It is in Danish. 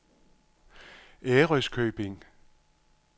Ærøskøbing